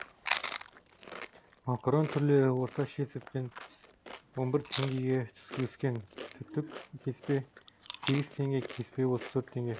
макарон түрлері орташа есеппен он бір теңгеге өскен түтік кеспе сегіз теңге кеспе отыз төрт теңге